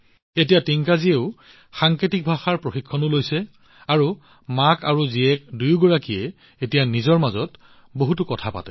এতিয়া টিংকাজীয়ে সাংকেতিক ভাষাৰ প্ৰশিক্ষণো লৈছে আৰু মাক আৰু জীয়েক দুয়োৱে এতিয়া নিজৰ মাজত বহুত কথা পাতে